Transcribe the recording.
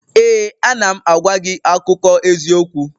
Ee, a na m agwa gị akụkọ eziokwu